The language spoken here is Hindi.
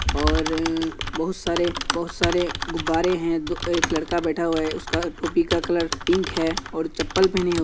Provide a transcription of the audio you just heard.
और बहुत सारे बहुत सारे गुब्बारें हैं। दो-एक लड़का बैठा हुआ है। उसका टोपी का कलर पिंक है और चप्पल पहने हुए --